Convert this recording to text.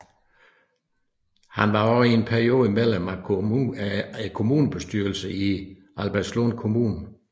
Han var også en periode medlem af kommunalbestyrelsen i Albertslund Kommune